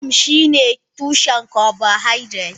Yam shine tushen carbohydrates.